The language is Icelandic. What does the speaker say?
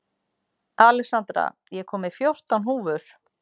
Alexandra, ég kom með fjórtán húfur!